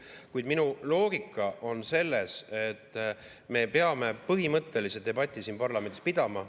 Kuid minu loogika on selles, et me peame põhimõttelise debati siin parlamendis pidama.